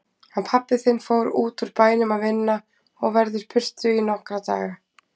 Hann pabbi þinn fór útúr bænum að vinna og verður burtu í nokkra daga.